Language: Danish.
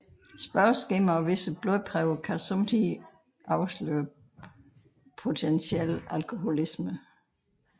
Spørgeskemaer og visse blodprøver kan somme tider afsløre potentiel alkoholisme